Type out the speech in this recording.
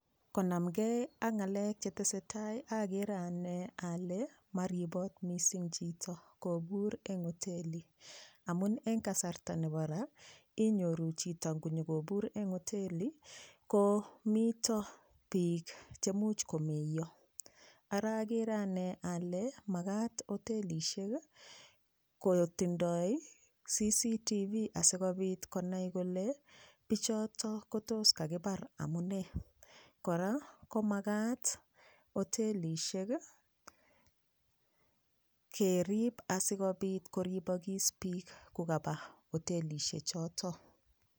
Konamgei ak ng'alek chetesei tai akere ane ale maripot mising chito kopur eng hoteli amun eng kasarta nebo raa inyoru chito ngoyikopur eng hoteli komito piik chemuch komeiyo ara agere ane ale makat hotelishek kotindoi CCTV asikopit konai kole pichoto kotos kakipar amunee kora komak hotelishek kerip asikopit koripokis piik kokaba hotelishechoto.